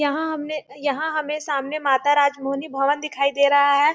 यहाँ हमने यहाँ हमें सामने माता राज मोहनी भवन दिखाई दे रहा है।